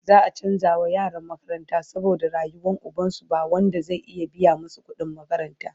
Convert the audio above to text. za'a chanza wa yaran makaranta saboda rasuwan ubansu, ba Wanda zai iya biya masu kudin makaranta